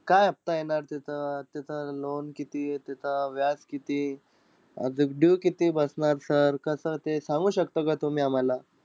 काय हफहता येणार तिथं-तिथं loan किती, तिथं व्याज किती? अजून due किती बसणार sir कसं ते सांगू शकता का तुम्ही आम्हाला?